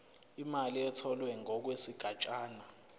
imali etholwe ngokwesigatshana